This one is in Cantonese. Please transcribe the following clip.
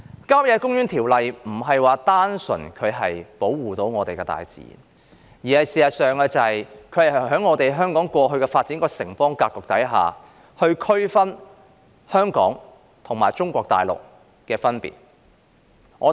《郊野公園條例》並非單純保護本港的大自然，而是在香港過去發展的城邦格局之下，區分香港與中國大陸。